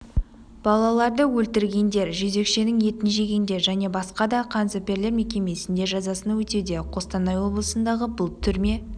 балаларды өлтіргендер жезөкшенің етін жегендер және басқа да қаніпезерлер мекемесінде жазасын өтеуде қостанай облысындағы бұл түрме